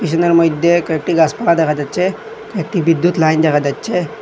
স্টেশনের মইধ্যে কয়েকটি গাসপালা দেখা যাচ্ছে একটি বিদ্যুৎ লাইন দেখা যাচ্ছে।